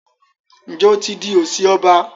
Njé o tí dì osi ọba?